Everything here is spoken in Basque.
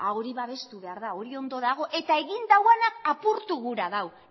hori babestu behar da hori ondo dago eta egin duguna apurtu gura dau